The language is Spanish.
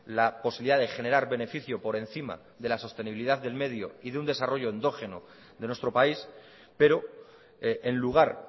la posibilidad de generar beneficio por encima de la sostenibilidad del medio y de un desarrollo endógeno de nuestro país pero en lugar